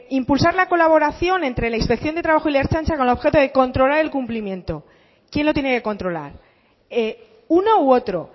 impulsar la colaboración entre la inspección de trabajo y la ertzaintza con objeto de controlar el cumplimiento quién lo tiene que controlar uno u otro